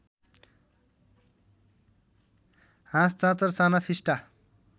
हाँस चाँचर साना फिस्टा